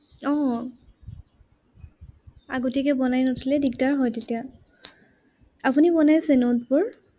আহ আগতিয়াকে বনাই নথলে দিগদাৰ হয় তেতিয়া। আপুনি বনাইছে notes বোৰ?